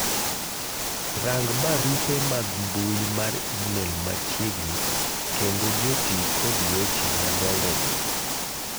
rang barupe mag mbui mar email machiegni kendo joti kod weche madongo go